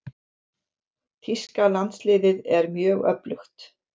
Þýska landsliðið er mjög öflugt.